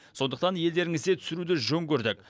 сондықтан елдеріңізде түсіруді жөн көрдік